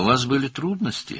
Sizin çətinlikləriniz var idi?